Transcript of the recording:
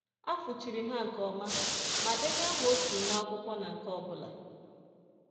A fụchiri ha nke ọma ma denye aha otu nwa akwụkwọ na nke ọ bụla.